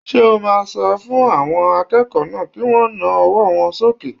Ṣé o máa sọ fún àwọn akẹ́kọ̀ọ́ náà kí wọ́n na ọwọ́ wọn sókè?